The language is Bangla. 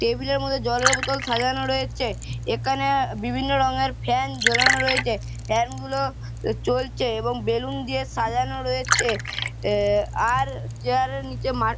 টেবিলের মধ্যে জলের বোতল সাজানো রয়েছে এখানে অ্যা বিভিন্ন রং এর ফ্যান ঝোলানো রয়েছে ফ্যান গুলো চলছে এবং বেলুন দিয়ে সাজানো রয়েছে এ-এ আর চেয়ারের নিচে মার--